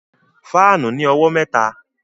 Fáànù ní owó mẹ́ta